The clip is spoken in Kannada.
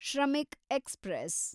ಶ್ರಮಿಕ್ ಎಕ್ಸ್‌ಪ್ರೆಸ್